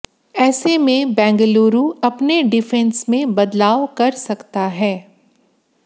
ऐसे में बेंगलुरु अपने डिफेंस में बदलाव कर सकता है